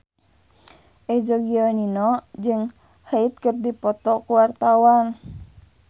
Eza Gionino jeung Hyde keur dipoto ku wartawan